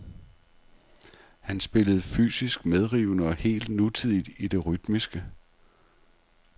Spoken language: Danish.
Han spillede fysisk medrivende og helt nutidigt i det rytmiske.